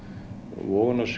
vogunarsjóðir